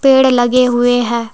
पेड़ लगे हुए हैं।